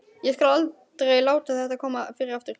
Ég skal aldrei láta þetta koma fyrir aftur.